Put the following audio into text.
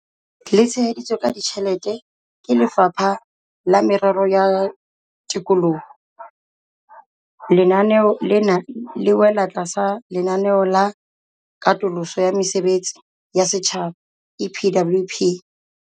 Le tsheheditswe ka ditjhelete ke Lefapha la Merero ya Tikoloho, lenaneo lena le wela tlasa Lenaneo la Katoloso ya Mesebetsi ya Setjhaba, EPWP.